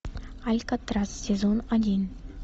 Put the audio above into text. алькатрас сезон один